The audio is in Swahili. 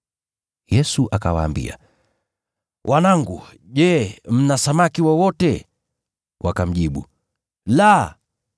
Yesu akawaambia, “Wanangu, je, mna samaki wowote?” Wakamjibu, “La.”